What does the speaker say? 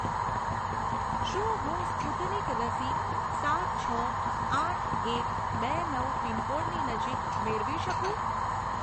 શું હું સ્પુતનિક રસી સાત છ આઠ એક બે નવ પિનકોડની નજીક મેળવી શકું?